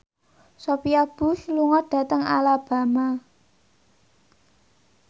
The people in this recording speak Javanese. Sophia Bush lunga dhateng Alabama